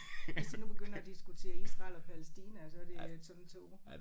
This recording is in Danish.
Hvis de nu begynder at diskutere Israel og Palæstina og så det er sådan to